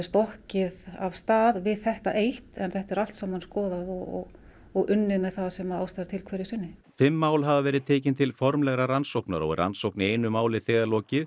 stokkið af stað við þetta eitt en þetta er allt saman skoðað og og unnið með það sem ástæða er til hverju sinni fimm mál hafa verið tekin til formlegrar rannsóknar og er rannsókn í einu máli þegar lokið